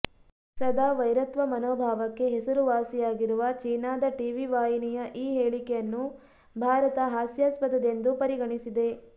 ಸದಾ ವೈರತ್ವ ಮನೋಭಾವಕ್ಕೆ ಹೆಸರುವಾಸಿಯಾಗಿರುವ ಚೀನಾದ ಟಿವಿ ವಾಹಿನಿಯ ಈ ಹೇಳಿಕೆಯನ್ನು ಭಾರತ ಹಾಸ್ಯಾಸ್ಪದೆಂದು ಪರಿಗಣಿಸಿದೆ